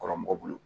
Kɔrɔ mɔgɔ bolo